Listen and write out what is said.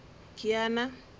kiana